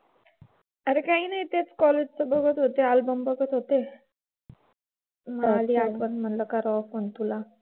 अगं काही नाही तेच college चं बघत होते अल्बम बघत होते . आली आठवण. म्हंटलं करावं phone तुला.